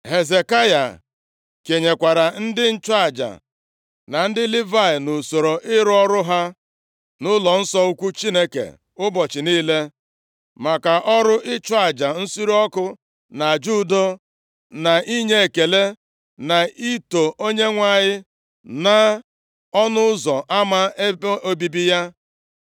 Hezekaya kenyekwara ndị nchụaja na ndị Livayị nʼusoro ịrụ ọrụ ha nʼụlọnsọ ukwu Chineke ụbọchị niile, maka ọrụ ịchụ aja nsure ọkụ na aja udo, na inye ekele, na ito Onyenwe anyị nʼọnụ ụzọ ama ebe obibi ya.